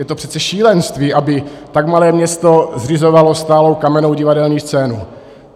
Je to přece šílenství, aby tak malé město zřizovalo stálou kamennou divadelní scénu.